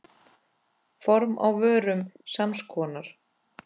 Form á vörum sams konar.